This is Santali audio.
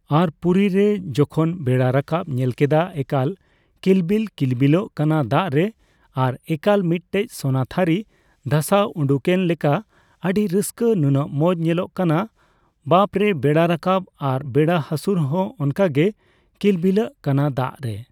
ᱟᱨ ᱯᱩᱨᱤ ᱨᱮ ᱡᱚᱠᱷᱚᱱ ᱵᱮᱲᱟ ᱨᱟᱠᱟᱯ ᱧᱮᱞ ᱠᱮᱫᱟ ᱮᱠᱟᱞ ᱠᱤᱞᱵᱤᱞᱼᱠᱤᱞᱵᱤᱞᱚᱜ ᱠᱟᱱᱟ ᱫᱟᱜ ᱨᱮ ᱟᱨ ᱮᱠᱟᱞ ᱢᱤᱫᱴᱮᱡ ᱥᱳᱱᱟ ᱛᱷᱟᱹᱨᱤ ᱵᱷᱟᱥᱟᱣ ᱩᱰᱩᱝᱮᱱ ᱞᱮᱠᱟ ᱟᱹᱰᱤ ᱨᱟᱹᱥᱠᱟᱹ, ᱱᱩᱱᱟᱹᱜ ᱢᱚᱡᱽ ᱧᱮᱞᱚᱜ ᱠᱟᱱᱟ ᱵᱟᱯᱨᱮ ᱵᱮᱲᱟ ᱨᱟᱠᱟᱯ᱾ ᱟᱨ ᱵᱮᱲᱟ ᱦᱟᱥᱩᱨ ᱦᱚᱸ ᱚᱱᱠᱟ ᱜᱮ ᱠᱤᱞᱵᱤᱞᱚᱜ ᱠᱟᱱᱟ ᱫᱟᱜ ᱨᱮ᱾